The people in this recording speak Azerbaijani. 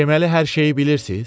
Deməli hər şeyi bilirsiz?